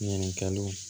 Ɲininkaliw